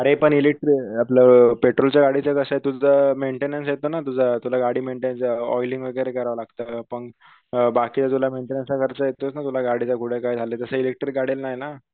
अरे पण इलेकट्रीक आपल पेट्रोलच्या गाडीचं कसंये तुमचा मेंटेनन्स येतो ना तुझा तुला गाडी मेंटेनच ऑइलिंग वगैरे करावं लागत पण बाकीतर तुला मेंटेनन्स चा खर्च येतोच ना तुला गाडीकल कुडकाय झालं तस इलेकट्रीक गाडयांना ये ना